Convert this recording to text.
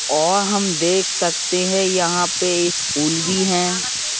और हम देख सकते हैं यहां पे स्कूल भी हैं।